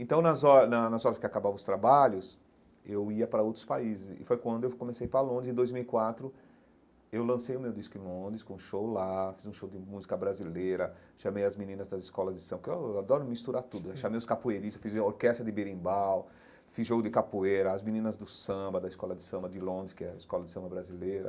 Então, nas hora na nas horas que acabavam os trabalhos, eu ia para outros países, e foi quando eu comecei ir para Londres, em dois mil e quatro, eu lancei o meu disco em Londres, com show lá fiz um show lá, fiz um show de música brasileira, chamei as meninas das escolas de samba, porque eu adoro misturar tudo, chamei os capoeiristas, fiz orquestra de berimbau, fiz jogo de capoeira, as meninas do samba, da escola de samba de Londres, que é a escola de samba brasileira,